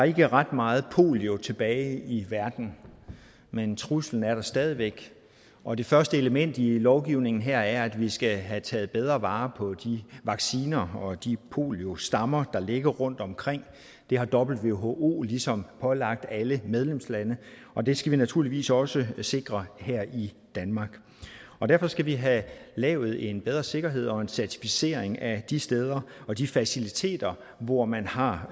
ikke har ret meget polio tilbage i verden men truslen er der stadig væk og det første element i lovgivningen her er at vi skal have taget bedre vare på vacciner og de poliostammer der ligger rundtomkring det har who ligesom pålagt alle medlemslande og det skal vi naturligvis også sikre her i danmark derfor skal vi have lavet en bedre sikkerhed og en certificering af de steder og de faciliteter hvor man har